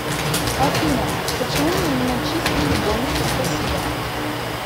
афина почему мне не начислили бонусы спасибо